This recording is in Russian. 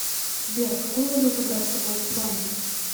сбер какую валюту брать с собой в исландию